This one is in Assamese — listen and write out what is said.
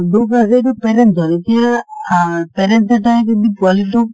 দোষ আছে এইটো parents ৰ । এতিয়া অ parent এটাই যদি পোৱালী টোক